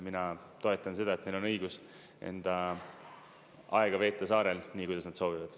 Mina toetan seda, et on õigus enda aega veeta saarel nii, kuidas nad soovivad.